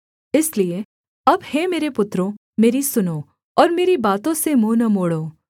इसलिए अब हे मेरे पुत्रों मेरी सुनो और मेरी बातों से मुँह न मोड़ो